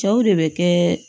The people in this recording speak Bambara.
Cɛw de bɛ kɛ